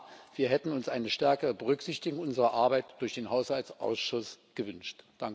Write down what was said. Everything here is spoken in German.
Und ja, wir hätten uns eine stärkere Berücksichtigung unserer Arbeit durch den Haushaltsausschuss gewünscht.